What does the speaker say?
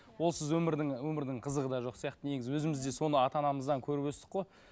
олсыз өмірдің өмірдің қызығы да жоқ сияқты негізі өзіміз де соны ата анамыздан көріп өстік қой